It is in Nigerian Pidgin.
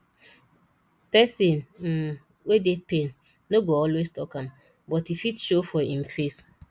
person um wey dey pain no go always talk am but e fit show for im face